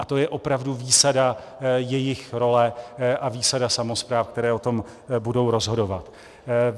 A to je opravdu výsada jejich role a výsada samospráv, které o tom budou rozhodovat.